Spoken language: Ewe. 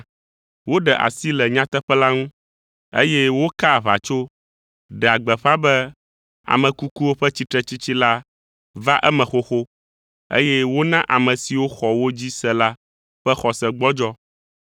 Woɖe asi le nyateƒe la ŋu, eye wokaa aʋatso, ɖea gbeƒã be ame kukuwo ƒe tsitretsitsi la va eme xoxo, eye wona ame siwo xɔ wo dzi se la ƒe xɔse gbɔdzɔ.